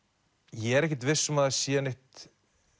ég er ekkert viss um að það sé neitt